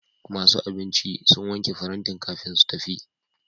Masu abinci sun wanke farantin kafin su tafi.